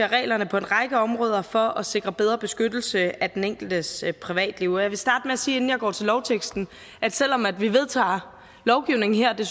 reglerne på en række områder for at sikre bedre beskyttelse af den enkeltes privatliv jeg vil starte med at sige inden jeg går til lovteksten at selv om vi vedtager lovgivning her og det